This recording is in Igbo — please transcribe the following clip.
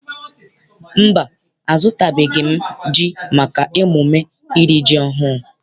Mba, azụtabeghị m ji maka emume iri ji ọhụụ.